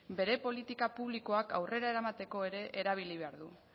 bere politika publikoak aurrera eramateko ere erabili behar du